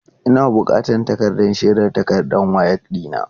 Ina bukatan takardar shaidar takardar WAEC ɗina.